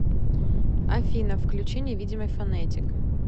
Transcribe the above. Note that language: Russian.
афина включи невидимый фонетик